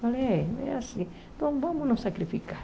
Falei, é é assim, então vamos nos sacrificar.